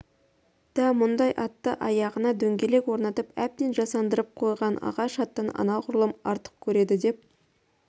да мұндай атты аяғына дөңгелек орнатып әбден жасандырып қойған ағаш аттан анағұрлым артық көреді деп